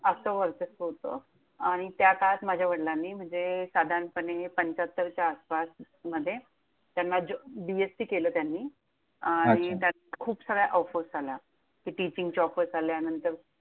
असं वर्चस्व होतं, आणि त्या काळात माझ्या वडिलांनी म्हणजे साधारणपणे पंच्याहत्तरच्या आसपास मध्ये त्यांना ज B. Sc केलं त्यांनी. अच्छा आणि त्यात खूप सार्या offers आल्या. टिचिंगच्या offers आल्या, नंतर